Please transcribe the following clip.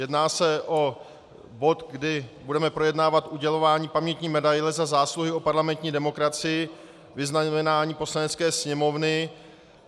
Jedná se o bod, kdy budeme projednávat udělování pamětní medaile Za zásluhy o parlamentní demokracii, vyznamenání Poslanecké sněmovny.